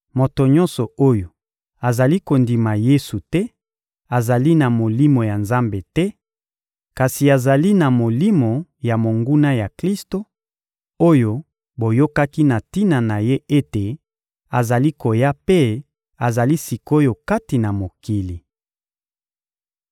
Moto nyonso oyo azali kondima Yesu te azali na Molimo ya Nzambe te, kasi azali na molimo ya monguna ya Klisto, oyo boyokaki na tina na ye ete azali koya mpe azali sik’oyo kati na mokili.